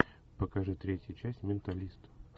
покажи третья часть менталист